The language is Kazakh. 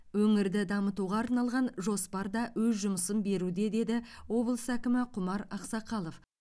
өңірді дамытуға арналған жоспар да өз жұмысын беруде деді облыс әкімі құмар ақсақалов